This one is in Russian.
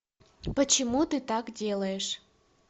почему ты так делаешь